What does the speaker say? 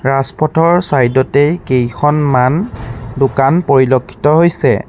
ৰাজপথৰ চাইড তেই কেইখনমান দোকান পৰিলক্ষিত হৈছে।